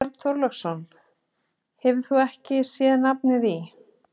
Björn Þorláksson: Hefurðu ekki sé nafnið í?